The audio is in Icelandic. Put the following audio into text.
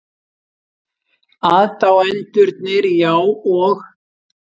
Aðdáendurnir, já, og?